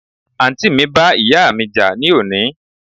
Àǹtì mi bá ìyáà mi jà ní òní